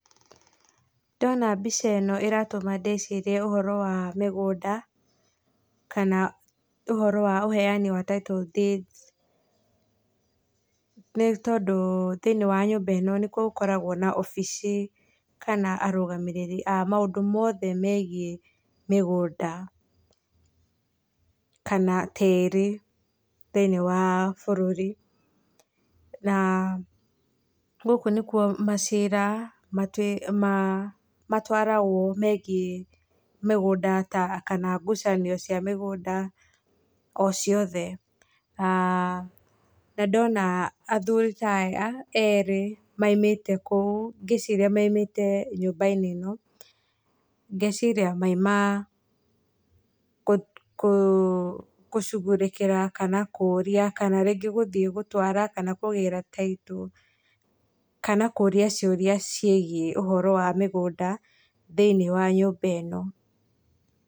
Ndona mbica ĩno ĩratũma ndĩcirie ũhoro wa mĩgũnda, kana ũhoro wa ũheani wa title deeds nĩ tondũ thĩinĩ wa nyũmba nĩkuo gĩkoragwo na wabici kana arũgamĩrĩri a maũndũ mothe megie mĩgũnda kana tĩri thĩinĩ wa bũrũri, na gũkũ nĩkuo macira matwaragwo megie mĩgũnda kana ngucanio cia mĩgũnda o ciothe aah na ndona athuri taya erĩ maumĩte kou ngĩciria maumĩte nyũmba-inĩ ĩno, ngeciria mauma gũshughulikĩra kana kũria, kana rĩngĩ gũthiĩ gũtwara kana kũgĩra title, kana kũria ciũria ciĩgie ũhoro wa mĩgũnda thĩinĩ wa nyũmba ĩno.